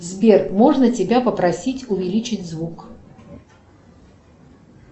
сбер можно тебя попросить увеличить звук